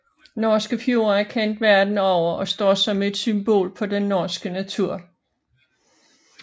Norske fjorde er kendt verden over og står som et symbol på den norske natur